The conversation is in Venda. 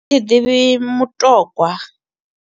Thi ḓivhi mutogwa.